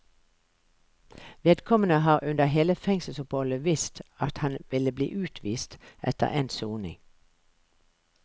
Vedkommende har under hele fengselsoppholdet visst at han ville bli utvist etter endt soning.